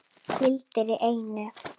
Gildir einu!